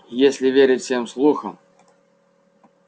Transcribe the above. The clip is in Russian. если верить всем слухам